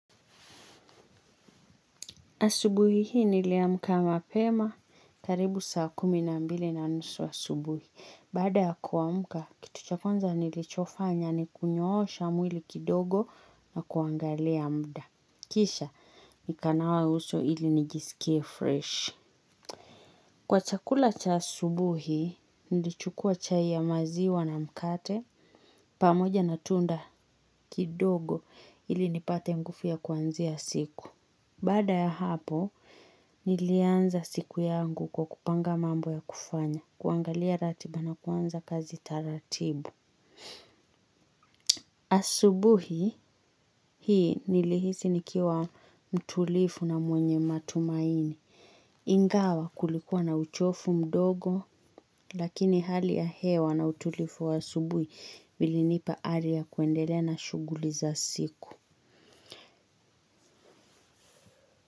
Asubuhi hii niliamka mapema karibu saa kumi na mbili na nusu wa asubuhi. Baada ya kuamka, kitu cha kwanza nilichofanya ni kunyoosha mwili kidogo na kuangalia muda. Kisha, nikanawa uso ili nijiskie fresh. Kwa chakula cha asubuhi, nilichukua chai ya maziwa na mkate. Pamoja na tunda kidogo ili nipate nguvu ya kuanzia siku. Baada ya hapo, nilianza siku yangu kwa kupanga mambo ya kufanya, kuangalia ratiba na kuanza kazi taratibu. Asubuhi, hii nilihisi nikiwa mtulivu na mwenye matumaini. Ingawa kulikuwa na uchovu mdogo, lakini hali ya hewa na utulivu wa asubuhi vilinipa ari ya kuendelea na shughuli za siku.